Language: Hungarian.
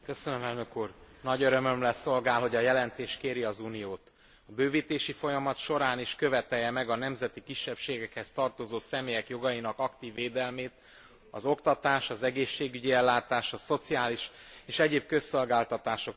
Nagy örömömre szolgál, hogy a jelentés kéri az Uniót, hogy a bővítési folyamat során is követelje meg a nemzeti kisebbségekhez tartozó személyek jogainak aktív védelmét az oktatás, az egészségügyi ellátás, a szociális és egyéb közszolgáltatások tekintetében.